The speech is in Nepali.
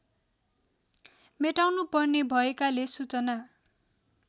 मेटाउनुपर्ने भएकाले सूचना